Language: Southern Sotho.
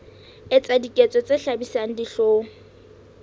etsa diketso tse hlabisang dihlong